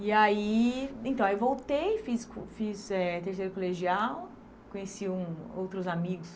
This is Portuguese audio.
E aí então aí voltei, fiz co fiz eh terceiro colegial, conheci um outros amigos.